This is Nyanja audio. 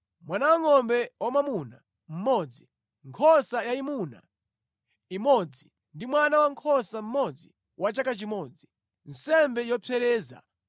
mwana wangʼombe wamwamuna mmodzi, nkhosa yayimuna imodzi ndi mwana wankhosa mmodzi wa chaka chimodzi, nsembe yopsereza;